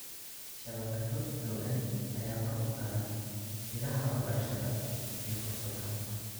Shabakado xooggan ayaa kor u qaada ilaha waxbarashada iyo fursadaha.